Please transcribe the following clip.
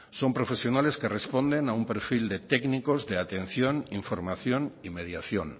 son profesionales que responden a un perfil de técnicos de atención información y mediación